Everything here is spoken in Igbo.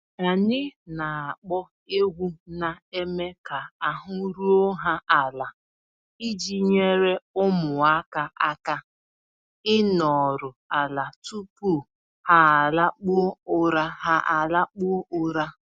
Anyị na-akpọ egwu na-eme ka ahụ́ ruo ha ala iji nyere ụmụaka aka ịnoru ala tupu ha alakpuo ụra. ha alakpuo ụra.